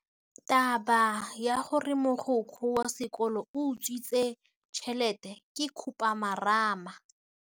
Taba ya gore mogokgo wa sekolo o utswitse tšhelete ke khupamarama.